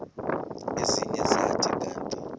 ezinye zathi kanti